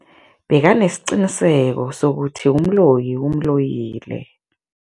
Bekanesiqiniseko sokuthi umloyi umloyile.